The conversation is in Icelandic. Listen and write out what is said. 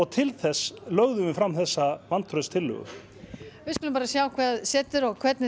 til þess lögðum við fram þessa vantrauststillögu við skulum sjá hvað setur og hvernig